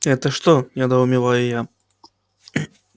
это что недоумеваю я